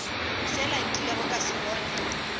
sela nkilego ka se bona